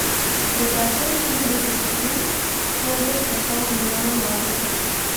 Preteklo je štirideset sekund, ko je zaškrtal Milanov radio.